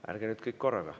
Ärge nüüd kõik korraga ...